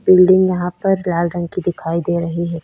Building यहाँ पर लाल रंग की दिखाई दे रही है।